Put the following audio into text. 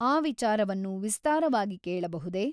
ಆ ವಿಚಾರವನ್ನು ವಿಸ್ತಾರವಾಗಿ ಕೇಳಬಹುದೆ ?